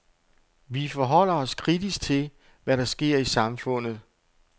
Vi forholder os kritisk til, hvad der sker i samfundet.